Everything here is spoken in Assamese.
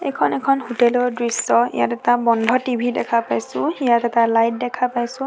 এইখন এখন হোটেল ৰ দৃশ্য ইয়াত এটা বন্ধ টি_ভি দেখা পাইছোঁ ইয়াত এটা লাইট দেখা পাইছোঁ।